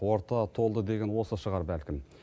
орта толды деген осы шығар бәлкім